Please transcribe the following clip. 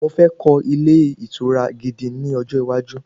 Mo fẹ́ kọ́ ilé ìtura gidi ní ọjọ́ iwájú